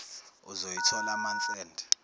uzoyithola month end